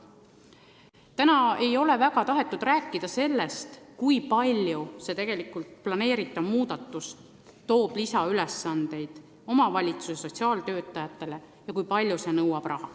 Täna ei ole väga tahetud rääkida sellest, kui palju planeeritav muudatus toob lisaülesandeid omavalitsuse sotsiaaltöötajatele ja kui palju see nõuab raha.